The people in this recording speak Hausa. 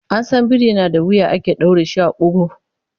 An san biri na da wuya ake ɗaure shi a ƙugu.